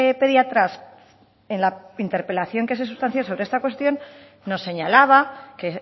pediatras en la interpelación que se sustancio sobre esta cuestión nos señalaba que